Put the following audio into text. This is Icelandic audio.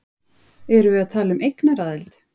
Erum við að tala um eignaraðild?